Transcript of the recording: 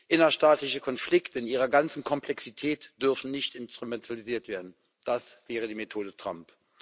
Innerstaatliche Konflikte in ihrer ganzen Komplexität dürfen nicht instrumentalisiert werden. Das wäre die Methode Trump.